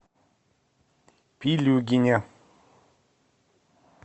пилюгине